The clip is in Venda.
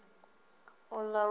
u ḓo ṱuwa na uḽa